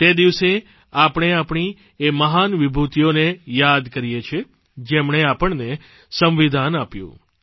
તે દિવસે આપણે આપણી એ મહાન વિભૂતિઓને યાદ કરીએ છીએ જેમણે આપણને સંવિધાન આપ્યું